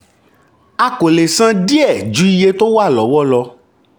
a kò le san díẹ̀ ju iye tó wà lọ́wọ́ lọ.